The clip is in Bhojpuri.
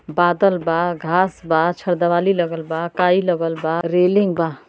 बादल बा घांस बा छरदवाली लगल बा काई लगल बा रेलिंग बा।